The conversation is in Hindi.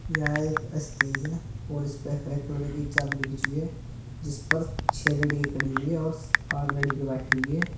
यह एक स्टेज है और इस पे हरे कलर की चादर बिछी है जिस पर छह लड़की खड़ी हुई है और आठ लड़की बैठी हुई है।